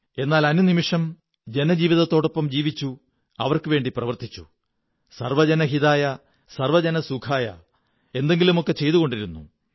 എന്നാൽ അനുനിമിഷം ജനജീവതത്തോടൊപ്പം ജീവിച്ചു അവര്ക്കു വേണ്ടി പ്രവര്ത്തിൂച്ചു സര്വ്വപജനഹിതായ സര്വ്വരജനസുഖായ എന്തെങ്കിലുമൊക്കെ ചെയ്തുകൊണ്ടേയിരുന്നു